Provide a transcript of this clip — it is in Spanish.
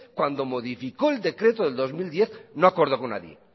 cuando modificó el decreto de dos mil diez no acordó con nadie